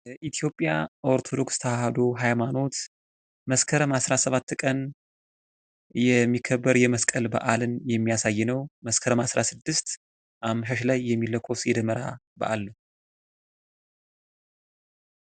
የኢትዮጵያ ኦርቶዶክስ ተዋሕዶ ሀይማኖት መስከረም አስራሰባት ቀን የሚከበር የመስቀል በአልን የሚያሳይ ነው ፤ መስከረም አስራስድስት አመሻሽ ላይ የሚለኮስ የደመራ በአል ነው።